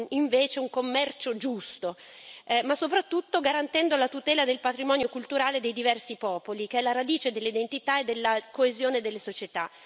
invece un commercio giusto ma soprattutto garantendo la tutela del patrimonio culturale dei diversi popoli, che è la radice dell'identità e della coesione delle società.